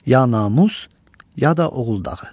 Ya namus, ya da oğul dağı.